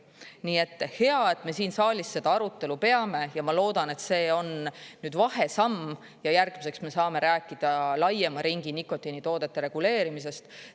Nii et, hea, et me siin saalis seda arutelu peame, ja ma loodan, et see on nüüd vahesamm ja järgmiseks me saame rääkida laiema ringi nikotiinitoodete reguleerimisest.